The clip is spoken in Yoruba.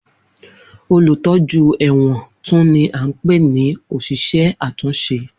Olutọju ẹ̀wọ̀n tun ni a npe ni oṣiṣẹ atunṣe.